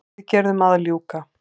Viðgerðum að ljúka